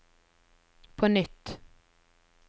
på nytt